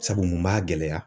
Sabu mun b'a gɛlɛya